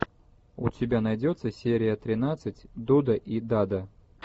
у тебя найдется серия тринадцать дуда и дада